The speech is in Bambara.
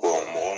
mɔgɔ